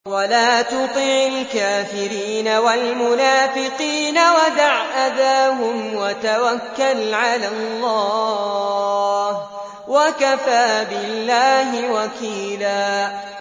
وَلَا تُطِعِ الْكَافِرِينَ وَالْمُنَافِقِينَ وَدَعْ أَذَاهُمْ وَتَوَكَّلْ عَلَى اللَّهِ ۚ وَكَفَىٰ بِاللَّهِ وَكِيلًا